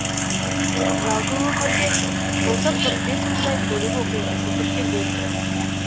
жалпы өңірде былтыр қырық бес мыңдай көлік оқиғасы тіркелген